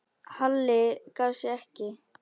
Halli gaf sig ekki.